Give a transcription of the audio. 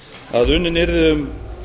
að unnin yrði um